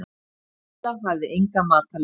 Lilla hafði enga matarlyst.